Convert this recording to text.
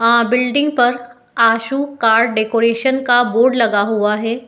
आ building पर Ashu car decoration का board लगा हुआ है |